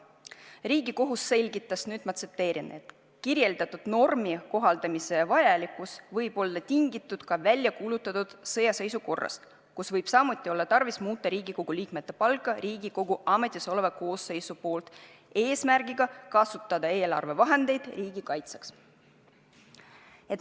Riigikohus selgitas : "Kirjeldatud normi kohaldamise vajalikkus võib olla tingitud ka väljakuulutatud sõjaseisukorrast, kus võib samuti olla tarvis muuta Riigikogu liikmete palka Riigikogu ametisoleva koosseisu poolt eesmärgiga kasutada eelarvevahendeid riigi kaitseks.